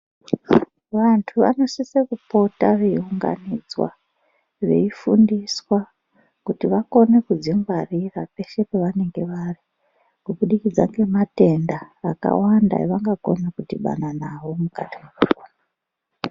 Vantu vanosisa kupota veunganidzwa Veifundito kuti vakone kudzingwarira peshe pavanenge vari kubudikidza ngematenda akawanda avangakona kudhibana nawo mukati mekupona.